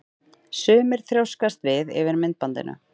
Sumir þrjóskast við yfir myndbandinu.